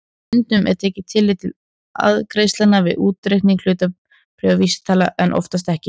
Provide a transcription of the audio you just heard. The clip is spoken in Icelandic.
Stundum er tekið tillit til arðgreiðslna við útreikning hlutabréfavísitalna en oftast ekki.